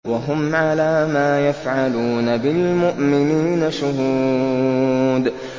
وَهُمْ عَلَىٰ مَا يَفْعَلُونَ بِالْمُؤْمِنِينَ شُهُودٌ